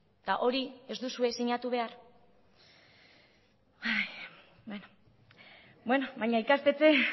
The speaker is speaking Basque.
eta hori ez duzue sinatu behar beno